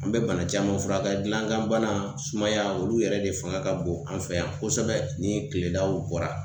An bɛ bana caman furakɛ. Gilankanbana, sumaya olu yɛrɛ de fanga ka bon an fɛ yan kosɛbɛ ni tiledaw bɔra.